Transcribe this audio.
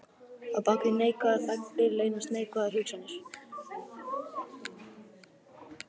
Á bak við neikvæðar þagnir leynast neikvæðar hugsanir.